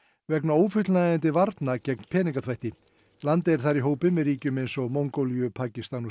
vegna ófullnægjandi varna gegn peningaþvætti landið er þar í hópi með ríkjum eins og Mongólíu Pakistan og